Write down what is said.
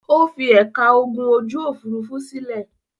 Ó fi ẹ̀ka ogun ojú-òfurufú sílẹ̀?